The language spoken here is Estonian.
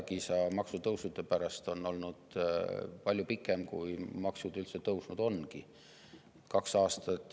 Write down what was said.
– hädakisa maksutõusude pärast on kestnud palju kauem, kui maksud üldse tõusnud on.